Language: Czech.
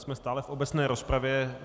Jsme stále v obecné rozpravě.